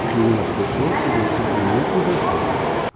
O que une as pessoas seria o sentimento e o respeito.